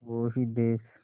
वो ही देस